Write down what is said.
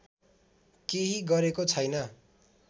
केही गरेको छैन